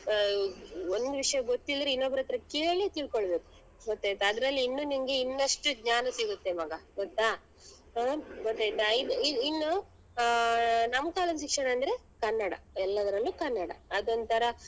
ಆಹ್ ಒಂದ್ ವಿಷ್ಯ ಗೊತ್ತಿಲ್ದ್ರೆ ಇನ್ನೊಬ್ರ ಅತ್ರ ಕೇಳಿ ತಿಳ್ಕೊಬೇಕು ಗೊತ್ತಾಯ್ತ ಅದ್ರಲ್ಲಿ ಇನ್ನು ನಿಂಗೆ ಇನ್ನಷ್ಟು ಜ್ಞಾನ ಸಿಗತ್ತೆ ಮಗ ಗೊತ್ತಾ ಅಹ್ ಗೊತ್ತಾಯ್ತ ಇ~ ಇನ್ನು ಆಹ್ ನಮ್ ಕಾಲದ್ ಶಿಕ್ಷಣ ಅಂದ್ರೆ ಕನ್ನಡ ಎಲ್ಲದ್ರಲ್ಲೂ ಕನ್ನಡ ಅದೊಂತರ.